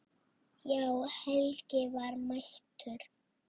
Já, Helgi var mættur.